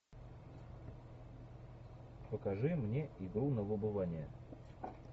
покажи мне игру на выбывание